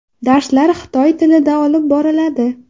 Darslar xitoy tilida olib boriladi.